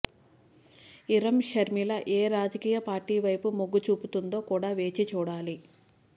ఇరమ్ షర్మిలా ఏ రాజకీయపార్టీ వైపు మొగ్గు చూపుతుందో కూడా వేచి చూడాలి